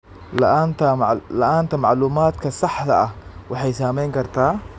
La'aanta macluumaadka saxda ah waxay saameyn kartaa.